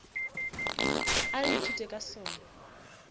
a re ithuteng ka sona